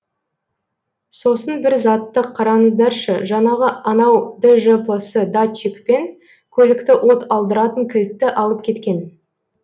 сосын бір затты қараңыздаршы жаңағы анау джпс датчик пен көлікті от алдыратын кілтті алып кеткен